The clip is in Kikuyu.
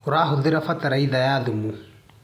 ũrahũthĩra bataraitha ya thumu.